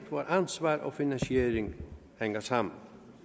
hvor ansvar og finansiering hænger sammen